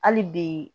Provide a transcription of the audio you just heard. Hali bi